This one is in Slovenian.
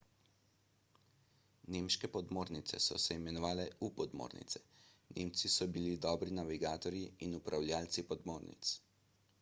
nemške podmornice so se imenovale u-podmornice nemci so bili dobri navigatorji in upravljavci podmornic